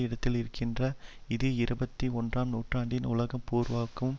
இடத்தில் இருக்கின்றது இது இருபத்தி ஒன்றாம் நூற்றாண்டின் உலகம் பூராகவும்